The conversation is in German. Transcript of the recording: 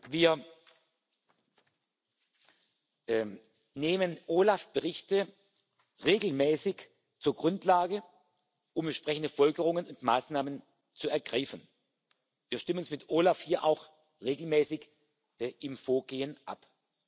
Wir nehmen OLAF Berichte regelmäßig zur Grundlage, um entsprechende Folgerungen und Maßnahmen zu ergreifen. Wir stimmen uns mit OLAF hier auch regelmäßig im Vorgehen ab.